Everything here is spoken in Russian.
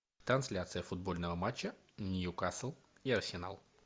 трансляция футбольного матча ньюкасл и арсенал